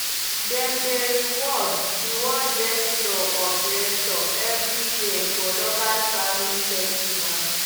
dem dey reward reward best plow operator every year for local farming festival